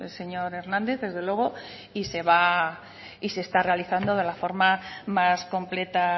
señor hernández desde luego y se está realizando de la forma más completa